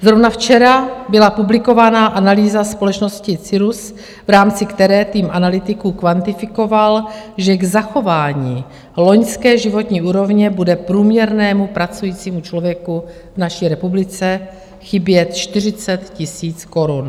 Zrovna včera byla publikována analýza společnosti Cyrrus, v rámci které tým analytiků kvantifikoval, že k zachování loňské životní úrovně bude průměrnému pracujícímu člověku v naší republice chybět 40 000 korun.